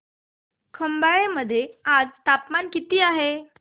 खंबाळे मध्ये आज तापमान किती आहे